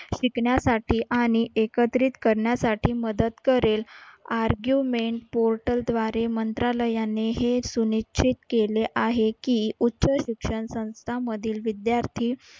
शिकण्यासाठी आणि एकत्रित करण्यासाठी मदत करेल. argument portal द्वारे मंत्रालयाने हे सुनिश्चित केले आहे की उच्च शिक्षण संस्थामधील विद्यार्थी